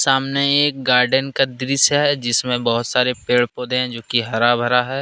सामने एक गार्डन का दृश्य है जिसमें बहुत सारे पेड़ पौधे हैं जो की हरा भरा है।